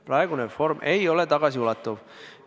Praegune reform ei ole tagasiulatuv.